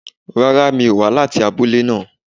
Rárá mi ò wá láti abúlé náà